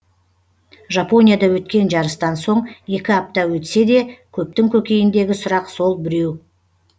жапонияда өткен жарыстан соң екі апта өтсе де көптің көкейіндегі сұрақ сол біреу